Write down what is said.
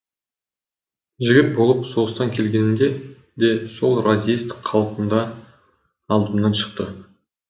жігіт болып соғыстан келгенімде де сол разъезд қалпында алдымнан шықты